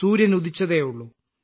സൂര്യൻ ഉദിച്ചതേയുള്ളു